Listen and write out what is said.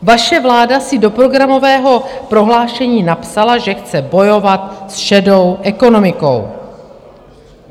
Vaše vláda si do programového prohlášení napsala, že chce bojovat s šedou ekonomikou.